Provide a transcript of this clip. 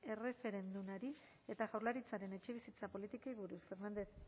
erreferendumari eta jaurlaritzaren etxebizitza politikei buruz fernandez